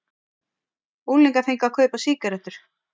Unglingar fengu að kaupa sígarettur